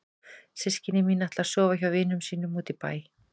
Systkini mín ætla að sofa hjá vinum sínum úti í bæ.